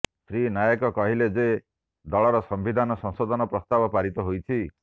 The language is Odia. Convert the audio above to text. ଶ୍ରୀ ନାୟକ କହିଥିଲେ ଯେ ଦଳର ସମ୍ବିଧାନ ସଂଶୋଧନ ପ୍ରସ୍ତାବ ପାରିତ ହୋଇଛି